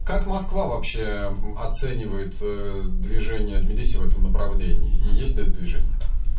как москва вообще оценивает движение тбилиси в этом направлении и есть ли это движение